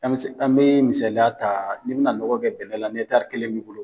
An be misaliya ta ni bɛ na nɔgɔ kɛ bɛnɛn la ni kelen b'i bolo .